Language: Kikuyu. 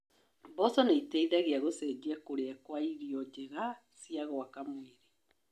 Mboco nĩ iteithagia gũcenjia kũria kwa irio njega cia gwaka mwĩrĩ.